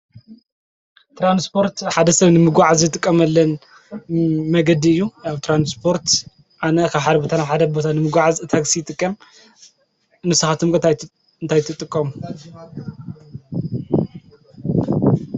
ትራንስጶርት ሓደ ሰብ ንምጕዓ ዘትቀመለን መገዲ እዩ ያብ ተራንስጶርት ኣነ ኻ ሓርብታናው ሓደ ኣቦታ ንምጕዓ ታክሲ ጥቀም ንስኻትምቀት እንታይትጥቆም?